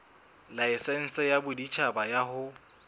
laesense ya boditjhaba ya ho